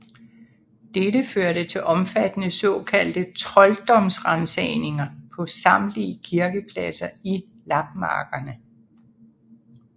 Dette førte til omfattende såkaldte trolddomsransagninger på samtlige kirkepladser i lapmarkerne